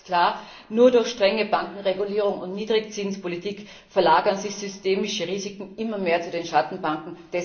Denn eines ist klar Nur durch strenge Bankenregulierung und Niedrigzinspolitik verlagern sich systemische Risiken immer mehr zu den Schattenbanken.